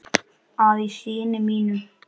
að í syni mínum